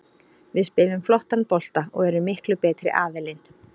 Við spilum flottan bolta og erum miklu betri aðilinn.